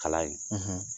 Kalan in